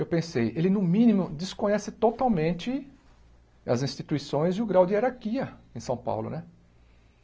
Eu pensei, ele no mínimo desconhece totalmente as instituições e o grau de hierarquia em São Paulo, né?